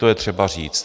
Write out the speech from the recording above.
To je třeba říci.